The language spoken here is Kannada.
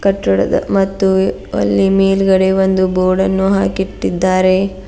ಕಟ್ಟಡದ ಮತ್ತು ಎ ಅಲ್ಲಿ ಮೇಲ್ಗಡೆ ಒಂದು ಬೋರ್ಡನ್ನು ಹಾಕಿಟ್ಟಿದ್ದಾರೆ.